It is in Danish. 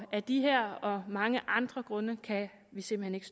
af de her og mange andre grunde kan vi simpelt